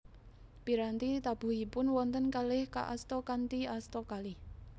Piranti tabuhipun wonten kalih kaasta kanthi asta kalih